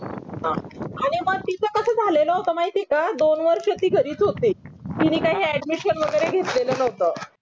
अरे मग तिचं कसं झालेलं होत माहिती ये का दोन वर्ष ती घरीच होती तिनी काय हे admission वगैरे घेतलेल नव्हतं